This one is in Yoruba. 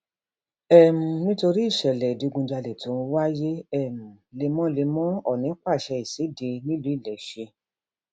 um nítorí ìṣẹlẹ ìṣẹlẹ ìdígunjalè tó ń wáyé um lemọlemọ ọọnì pàṣẹ ìṣede nílùú iléeṣẹ